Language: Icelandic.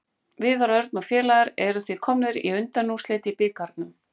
Viðar Örn og félagar eru því komnir í undanúrslit í bikarnum.